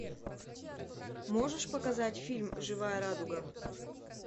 можешь показать фильм живая радуга